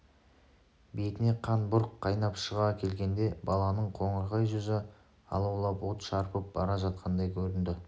бетіне қан бұрқ қайнап шыға келгенде баланың қоңырқай жүзі алаулап от шарпып бара жатқандай көрінді